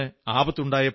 ആ ദരിദ്രന്